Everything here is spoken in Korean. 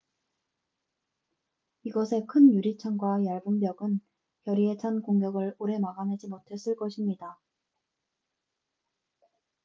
이것의 큰 유리창과 얇은 벽은 결의에 찬 공격을 오래 막아내지 못했을 것입니다